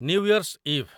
new Year's ଇଭ୍